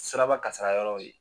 Siraba kasara yɔrɔ ye